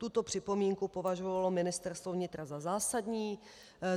Tuto připomínku považovalo Ministerstvo vnitra za zásadní.